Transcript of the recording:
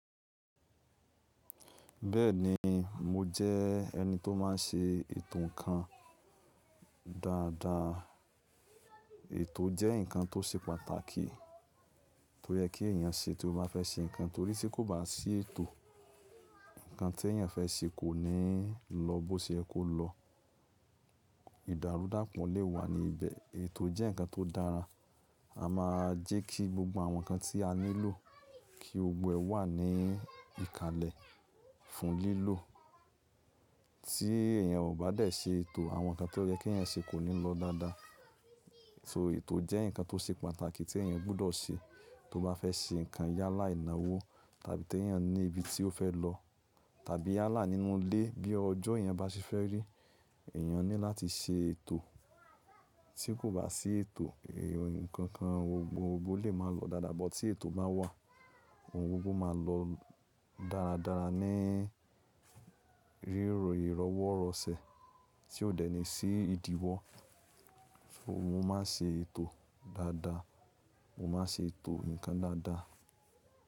Bẹ́ẹ̀ni mo jẹ́ ẹni tó máa n ṣe ètò ǹkan dáadáa. Ètò jẹ́ ǹkan tó ṣe pàtàkì tó yẹ kí èèyàn ṣe tí ó bá fẹ́ ṣe ǹkan torí tí kò bá sí ètò, ǹkan tí èèyàn fẹ́ ṣe kò ní lọ bó ṣe ẹ kó lọ. Ìdàrúdàpọ̀ lè wà ní ibẹ̀. Ètò jẹ́ ǹkan tó dára. A máa jẹ́ kí gbogbo àwọn ǹkan tí a nílò kí gbogbo ẹ wà ní ìkàlẹ̀ fún lílò. Tí èèyàn ò bá dé ṣe ètò àwọn ǹkan tó yẹ kí ẹyan ṣe kò le lọ dáadáa. Ètò jẹ́ ǹkan tó ṣe pàtàkì tí èèyàn gbọ́dọ̀ ṣe tó bá fẹ́ ṣe ǹkan yálà ìnáwó tàbí tí èèyàn ní ibi tí ó fẹ́ lọ tàbí yálà nínú ilé bí ọjọ́ yen bá ṣe fẹ́ rí, èèyàn ní láti ṣe ètò. Tí kò bá sí ètò ǹkankan gbogbo lè máa lọ dáadáa but tí ètò bá wà ohun gbogbo máa lọ dáradára ní rírò iroworọ̀sẹ̀ tí ó dé ní sí ìdíwọ́. Mo máa ń ṣe ètò dáadáa. Mo máa ń ṣe ètò ǹkan dáadáa.